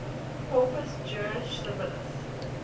corpus juris civilis